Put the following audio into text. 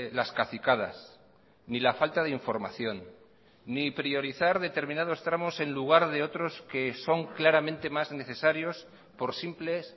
las cacicadas ni la falta de información ni priorizar determinados tramos en lugar de otros que son claramente más necesarios por simples